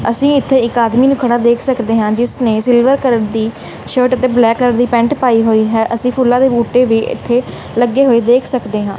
ਅਸੀ ਇਥੇ ਇੱਕ ਆਦਮੀ ਨੂੰ ਖੜਾ ਦੇਖ ਸਕਦੇ ਹਾਂ ਜਿਸਨੇ ਸਿਲਵਰ ਕਲਰ ਦੀ ਸ਼ਰਟ ਅਤੇ ਬਲੈਕ ਕਲਰ ਦੀ ਪੈਂਟ ਪਾਈ ਹੋਈ ਹੈ ਅਸੀਂ ਫੁੱਲਾਂ ਦੇ ਬੂਟੇ ਵੀ ਇਥੇ ਲੱਗੇ ਹੋਏ ਦੇਖ ਸਕਦੇ ਹਾਂ।